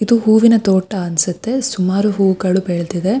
ಇದು ಹೂವಿನ ತೋಟ ಅನ್ಸುತ್ತೆ ಸುಮಾರು ಹೂಗಳು ಬೆಳೆದಿದೆ-